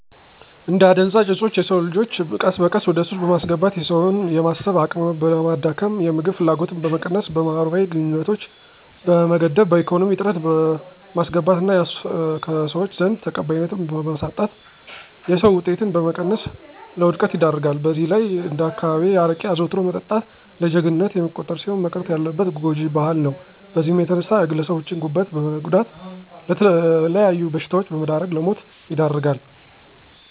አደንዘዠኦጾቾ የሰወንልጆቾ ቀስበቀስ ወደሱስ በማስገባት የሰወችን የማሰብ አቅምበማዳከም፣ የምግብ ፍላጎትን በመቀነስ ከመህበራዊግንኙነት በመገደብ በኢኮነሚ እጥረት በማስገባት እና ቀሰወች ዘንድ ተቀባይነትን በማሳጣት የሰራ ወጤትን በመቀነስ ለወድቀት ይደርጋል። በዘህላይ አነዳካባቢየ አረቄ አዘዉትሮ መጠጣት እንደጀጀግንነት የሚቆጠርሲሆን መቅረት ያለበት ጓጅ ባህል ነዉ በዚህም የተነሳ የግለሰቦቸን ጉበት በመጉዳት ለመተለያዩ በሽታወች በመዳረግ ለሞት ይደርጋል።